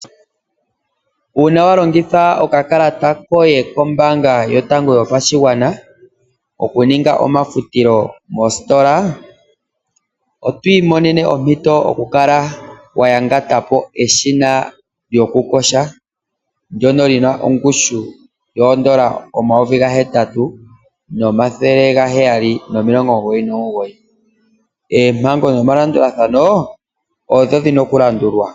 Uuna wa longitha okakalata koye kombaanga yotango yopashigwana okuninga omafutilo mostola oto imonene ompito yokukala wayangata po eshina lyokuyoga lyongushu yoondola omayovi 8799. Oompango nomalandulathano opo dhili.